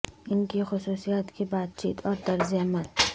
ان کی خصوصیات کی بات چیت اور طرز عمل